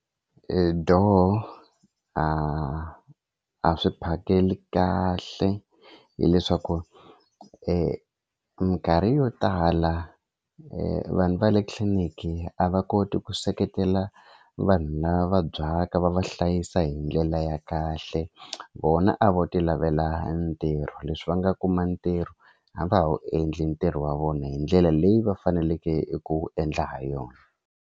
I doh a a swi phakeli kahle hileswaku e mikarhi yo tala vanhu va le tliliniki a va koti ku seketela vanhu lava vabyaka va va hlayisa hi ndlela ya kahle vona a vo tilavela ntirho leswi va nga kuma ntirho a va ha wu endli ntirho wa vona hi ndlela leyi va faneleke ku endla ha yona.